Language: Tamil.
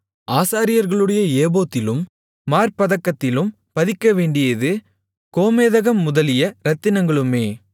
ஆசாரியர்களுடைய ஏபோத்திலும் மார்ப்பதக்கத்திலும் பதிக்கவேண்டியது கோமேதகம் முதலிய இரத்தினங்களுமே